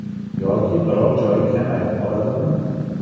Yoki biror joyi kamayib qoladimi?